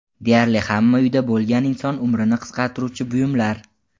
Deyarli hamma uyda bo‘lgan inson umrini qisqartiruvchi buyumlar.